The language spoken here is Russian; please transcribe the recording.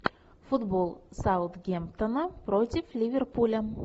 футбол саутгемптона против ливерпуля